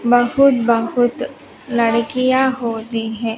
बहुत बहुत लड़कियां होती है।